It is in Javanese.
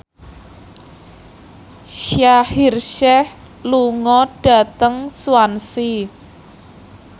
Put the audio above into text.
Shaheer Sheikh lunga dhateng Swansea